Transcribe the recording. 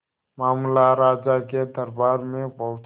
मामला राजा के दरबार में पहुंचा